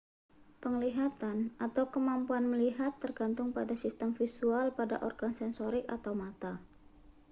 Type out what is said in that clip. penglihatan atau kemampuan melihat tergantung pada sistem visual pada organ sensorik atau mata